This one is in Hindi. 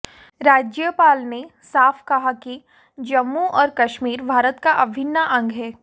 राज्यपाल ने साफ कहा कि जम्मू और कश्मीर भारत का अभिन्न अंग है